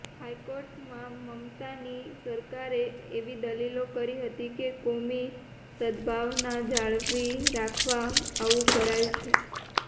હાઈકોર્ટમાં મમતાની સરકારે એવી દલીલો કરી હતી કે કોમી સદભાવના જાળવી રાખવા આવું કરાયું છે